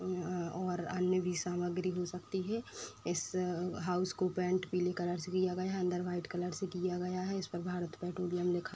और अन्य भी सामग्री हो सकती है। इस हाउस को पेंट पीले कलर से किया गया है अंदर वाइट कलर से किया गया है इस पर भारत पेट्रोलनियम लिखा गया --